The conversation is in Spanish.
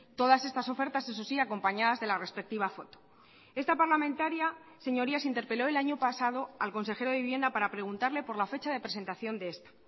todas estas ofertas eso sí acompañadas de la respectiva foto esta parlamentaria señorías interpeló el año pasado al consejero de vivienda para preguntarle por la fecha de presentación de esta